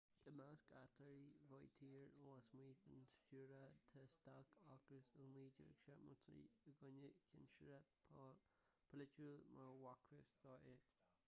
i measc éachtaí vautier lasmuigh den stiúradh tá stailc ocrais i 1973 i gcoinne cinsireacht pholaitiúil mar a b'fhacthas dó é